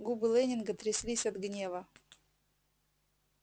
губы лэннинга тряслись от гнева